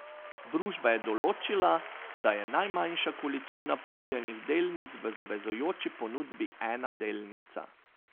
Družba je določila, da je najmanjša količina ponujenih delnic v zavezujoči ponudbi ena delnica.